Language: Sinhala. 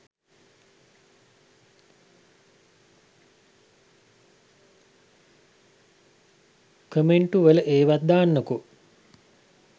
කොමෙන්ටු වල ඒවත් දාන්නකෝ.